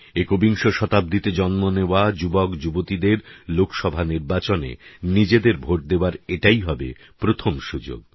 একবিংশ শতাব্দীতে জন্ম নেওয়া যুবকযুবতীদের লোকসভা নির্বাচনে নিজেদের ভোট দেওয়ার এটাই হবে প্রথম সুযোগ